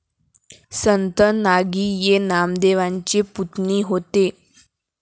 संत नागि ये नामदेवांचे पुतणी होते